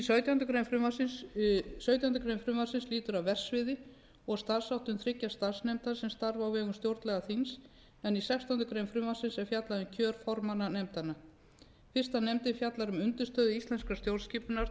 sautjándu grein frumvarpsins lýtur að verksviði og starfsháttum þriggja starfsnefnda sem starfa á vegum stjórnlagaþings en í sextándu grein frumvarpsins er fjallað um kjör formanna nefndanna fyrsta nefndin fjallar um undirstöður íslenskrar stjórnskipunar